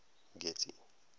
getty